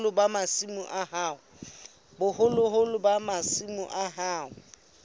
boholo ba masimo a hao